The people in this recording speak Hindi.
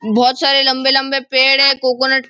बहुत सारे लंबे लंबे पेड़ है कोकोनट --